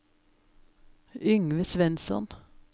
Yngve Svensson